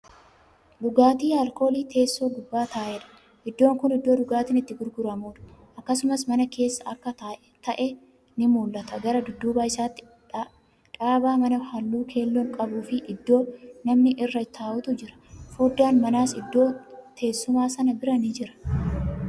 Dhugaatii alkoolii teessoo gubbaa taa'edha. iddoon Kun iddoo dhugaatiin itti gurguramuudha. akkasumas mana keessa akka ta'e ni mul'ata gara dudduuba isaatti dhaabaa manaa halluu keelloon qabuufi iddoo namni irra taa'utu jira. foddaan manaas iddoo teessumaa sana biraan ni Jira.